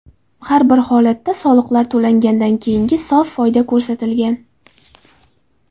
Har bir holatda soliqlar to‘langandan keyingi sof foyda ko‘rsatilgan.